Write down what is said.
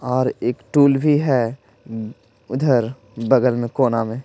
और एक टूल भी है उधर बगल में कोना में--